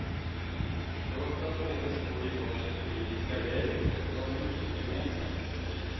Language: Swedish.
Trots att båda står i var sitt politiska läger har de mycket genemsamt.